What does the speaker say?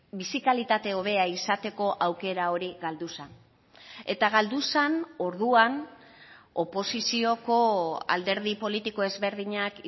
bizi kalitate hobea izateko aukera hori galdu zen eta galdu zen orduan oposizioko alderdi politiko ezberdinak